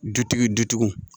Dutigi dutigiw